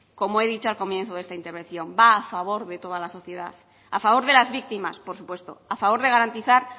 como he dicho al principio de mi intervención va a favor de toda la sociedad a favor de las víctimas por supuesto a favor de garantizar